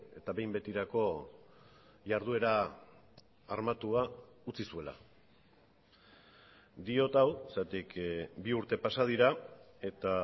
eta behin betirako jarduera armatua utzi zuela diot hau zergatik bi urte pasa dira eta